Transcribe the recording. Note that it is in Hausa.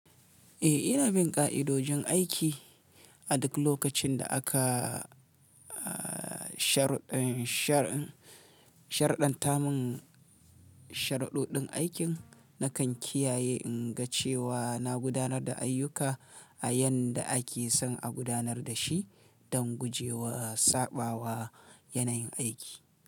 Eh, ina bin ƙa'idojin aiki. A duk lokacin da aka sharɗanta mun sharuɗoɗin aikin, nakan kiyaye inga cewa na gudanar da ayyuka a yanda ake son a gudanar da shi don guje wa saɓawa yanayin aiki.